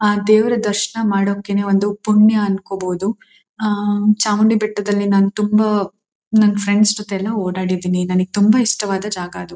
ಆ ದೇವರ ದರ್ಶನ ಮಾಡೋದಕ್ಕೆ ಒಂದು ಪುಣ್ಯ ಅನ್ಕೋಬಹುದು. ಆ ಚಾಮುಂಡಿ ಬೆಟ್ಟದಲ್ಲಿ ನಾನು ತುಂಬಾ ನನ್ ಫ್ರೆಂಡ್ಸ್ ಜತೆ ಎಲ್ಲ ಓಡಾಡಿದ್ದೀನಿ. ನನಗೆ ತುಂಬಾ ಇಷ್ಟವಾದ ಜಾಗ ಅದು.